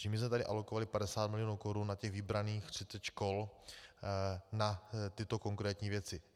Takže my jsme tady alokovali 50 milionů korun na těch vybraných 30 škol na tyto konkrétní věci.